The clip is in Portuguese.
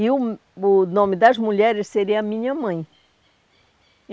E o o nome das mulheres seria minha mãe.